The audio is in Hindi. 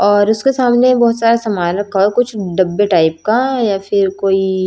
और उसके सामने बहोत सामान रखा हुआ है कुछ डब्बे टाइप का या फिर कोई--